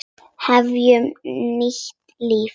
Hefja nýtt líf.